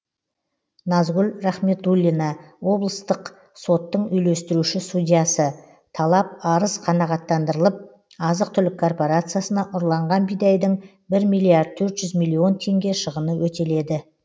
назгүл рахметуллина облыстық соттың үйлестіруші судьясы талап арыз қанағаттандырылып азық түлік корпорациясына ұрланған бидайдың бір миллиард төрт жүз миллион теңге шығыны өтеледі